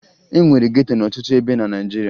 E nwere geto n'ọtụtụ ebe na Naịjirịa